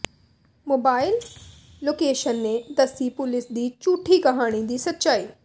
mobile location ਨੇ ਦੱਸੀ ਪੁਲਸ ਦੀ ਝੂਠੀ ਕਹਾਣੀ ਦੀ ਸੱਚਾਈ